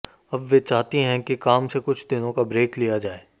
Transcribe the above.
अब वे चाहती है कि काम से कुछ दिनों का ब्रेक लिया जाए